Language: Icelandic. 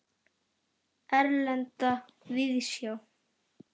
Erlenda víðsjá.